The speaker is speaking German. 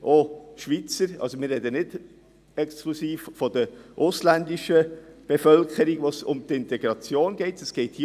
Wir sprechen nicht exklusiv von der ausländischen Bevölkerung, bei der es um die Integration geht, sondern auch von Schweizern.